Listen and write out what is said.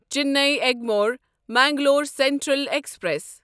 Chennai Egmore Mangalore central express